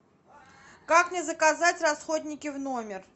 как мне заказать расходники в номер